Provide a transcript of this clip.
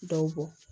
Dɔw bɔ